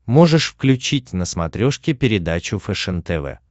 можешь включить на смотрешке передачу фэшен тв